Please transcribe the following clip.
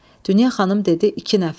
Dünya xanım dedi iki nəfər.